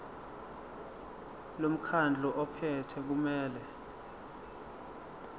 lomkhandlu ophethe kumele